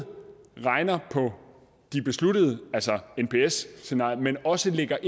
regner på det besluttede altså nps scenariet men også lægger